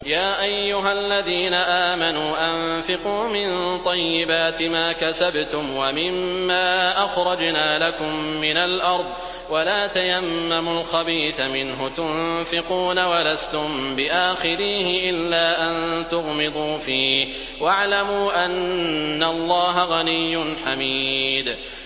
يَا أَيُّهَا الَّذِينَ آمَنُوا أَنفِقُوا مِن طَيِّبَاتِ مَا كَسَبْتُمْ وَمِمَّا أَخْرَجْنَا لَكُم مِّنَ الْأَرْضِ ۖ وَلَا تَيَمَّمُوا الْخَبِيثَ مِنْهُ تُنفِقُونَ وَلَسْتُم بِآخِذِيهِ إِلَّا أَن تُغْمِضُوا فِيهِ ۚ وَاعْلَمُوا أَنَّ اللَّهَ غَنِيٌّ حَمِيدٌ